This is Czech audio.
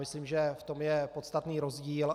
Myslím, že je v tom podstatný rozdíl.